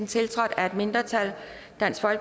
tiltrådt af et mindretal